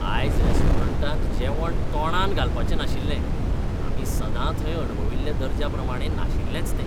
आयज रेस्टॉरंटांत जेवण तोंडांत घालपाचें नाशिल्लें. आमी सदां थंय अणभविल्ल्या दर्ज्या प्रमाणें नाशिल्लेंच तें.